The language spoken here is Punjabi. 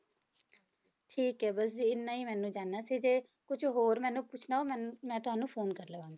ਠੀਕ ਹੈ ਬਸ ਜੀ ਇੰਨਾ ਹੀ ਮੈਨੂੰ ਜਾਣਨਾ ਸੀ ਤੇ ਕੁਛ ਹੋਰ ਮੈਨੂੰ ਪੁੱਛਣਾ ਹੋਊ ਮੈਨ~ ਮੈਂ ਤੁਹਾਨੂੰ phone ਕਰ ਲਵਾਂਗੀ।